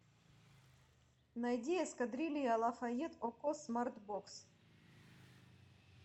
найди эскадрилья лафайет окко смарт бокс